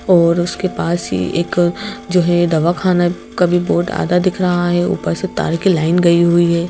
और उसके पास ही एक जो है दवाखाना का भी बोर्ड आधा दिख रहा है ऊपर से तार की लाइन गई हुई है।